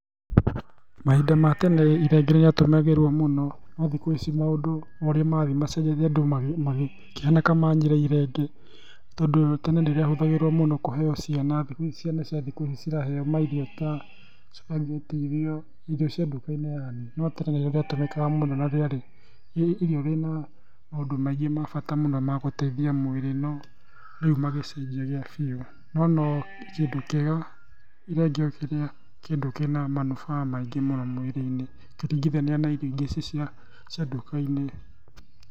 Mahinda ma tene irenge nĩ rĩatũmagĩrũo mũno no thikũ ici ũrĩa maũndũ ũrĩa marathiĩ macenjetie andũ makĩhana ta manyira irenge tondũ tene nĩ rĩatũmagĩrũo mũno kũheo ciana. Thikũ ici ciana cia thikũ ici ciraheo mairio ta spaghetti ũguo irio cia nduka-inĩ yaani. No tene nĩrĩo rĩatũmĩkaga mũno na rĩarĩ nĩ irio rĩna maũndũ maingĩ ma bata mũno ma gũteithia mwĩrĩ no rĩu magĩcenjia gĩa biũ. No no kĩndũ kĩega irenge ũkĩrĩa kĩndũ kĩna manufaa maingĩ mũno mwĩrĩ-inĩ ũkĩringithania na irio ingĩ ici cia nduka-inĩ.